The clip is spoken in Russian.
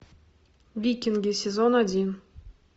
викинги сезон один